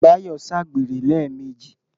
Báyọ̀ ṣàgbèrè lẹ́ẹ̀mejì.